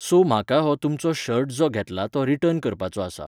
So म्हाका हो तुमचो शर्ट जो घेतला तो रिटर्न करपाचो आसा.